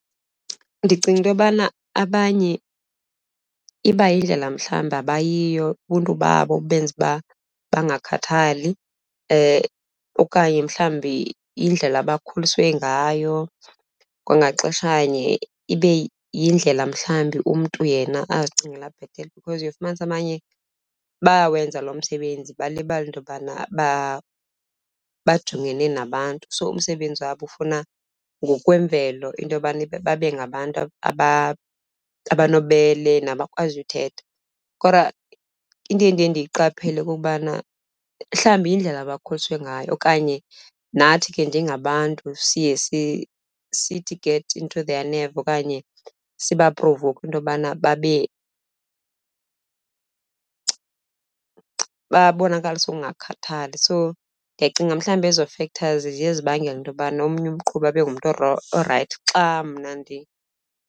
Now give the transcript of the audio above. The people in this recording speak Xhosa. Ndicinga into yobana abanye iba yindlela mhlawumbi abayiyo, ubuntu babo obenze uba bangakhathali okanye mhlawumbi yindlela abakhuliswe ngayo. Kwangaxeshanye ibe yindlela mhlawumbi umntu yena azicingela bhetele because uye ufumanise abanye bayawenza lo msebenzi, balibale into yobana bajongene nabantu. So, umsebenzi wabo ufuna ngokwemvelo into yokubana babe ngabantu abanobubele nabakwaziyo uthetha. Kodwa into endiye ndiyiqaphele kukubana mhlawumbi yindlela abakhuliswe ngayo okanye nathi ke njengabantu siye sithi get into their nerves okanye sibaprovowukhe into yokubana babe babonakalise ukungakhathali. So ndiyacinga mhlawumbi ezo factors ziye zibangele into yobana omnye umqhubi abe ngumntu orayithi xa mna .